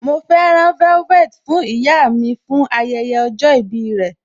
Mọ fẹ́ rán velvet fún ìyá mi fún ayẹyẹ ọjọ́ ìbí rẹ.